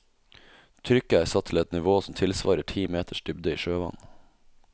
Trykket er satt til et nivå som tilsvarer ti meters dybde i sjøvann.